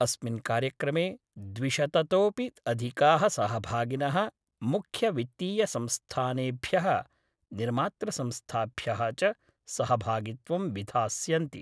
अस्मिन् कार्यक्रमे द्विशततोपि अधिकाः सहभागिनः मुख्य वित्तीय संस्थानेभ्यः निर्मातृसंस्थाभ्यः च सहभागित्वं विधास्यन्ति।